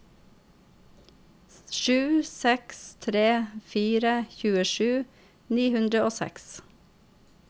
sju seks tre fire tjuesju ni hundre og seks